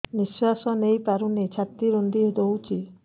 ନିଶ୍ୱାସ ନେଇପାରୁନି ଛାତି ରୁନ୍ଧି ଦଉଛି